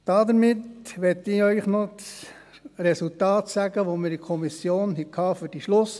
Nun möchte ich Ihnen noch das Resultat der Gesamtabstimmung in der Kommission bekannt geben: